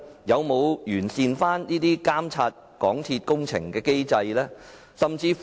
有否完善監察港鐵公司工程的機制呢？